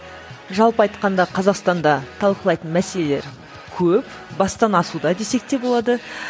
жалпы айтқанда қазақстанда талқылайтын мәселелер көп бастан асуда десек те болады